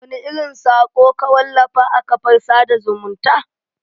Wani irin sako ka wallafa a kafar sada zumunta?